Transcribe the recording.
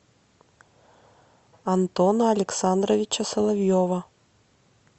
антона александровича соловьева